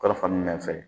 Kalifomin fɛ